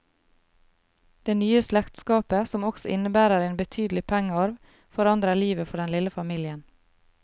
Det nye slektskapet, som også innebærer en betydelig pengearv, forandrer livet for den lille familien.